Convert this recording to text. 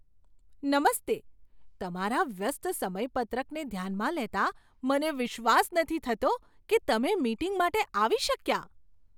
નમસ્તે! તમારા વ્યસ્ત સમયપત્રકને ધ્યાનમાં લેતાં મને વિશ્વાસ નથી થતો કે તમે મીટિંગ માટે આવી શક્યા.